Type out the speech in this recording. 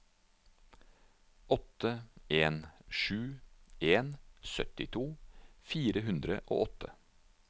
åtte en sju en syttito fire hundre og åtte